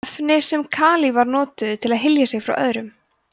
efni sem kalífar notuðu til að hylja sig frá öðrum